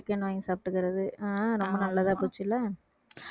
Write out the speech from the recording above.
chicken `வாங்கி சாப்பிட்டுக்கிறது ஆஹ் ரொம்ப நல்லதா போச்சு இல்லை